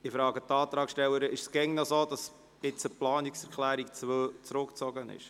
Eine Frage an die Antragstellerin: Ist es immer noch so, dass die Planungserklärung 2 zurückgezogen ist?